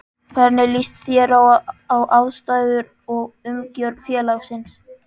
Hvernig líst þér á aðstæður og umgjörð félagsins?